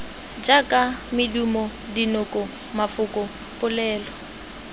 jaaka medumo dinoko mafoko polelo